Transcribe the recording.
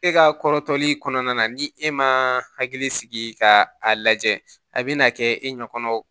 E ka kɔrɔtɔli kɔnɔna na ni e ma hakili sigi ka a lajɛ a bɛna kɛ e ɲɛ kɔnɔ